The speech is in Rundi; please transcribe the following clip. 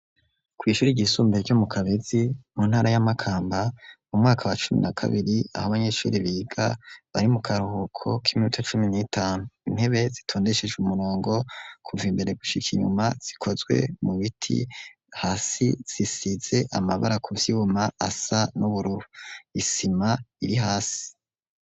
Kw'ishuri ryisumbuye ryo mu Kabezi mu ntara ya Makamba mu mwaka wa cumi na kabiri aho abanyeshuri biga bari mu karuhuko k'iminuta cumi n'itanu, intebe zitondeshej' umurongo kuv' imbere gushik' inyuma zikozwe mu biti ,hasi zisize amabara kuvyuma asa n'ubururu, isima iri hasi.